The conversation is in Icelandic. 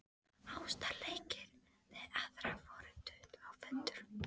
Ástarleikir við aðra voru dútl og föndur.